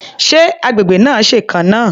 Ṣé agbègbè náà ṣèkan náà?